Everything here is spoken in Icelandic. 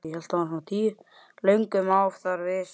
Löngum má þar vísur sjá.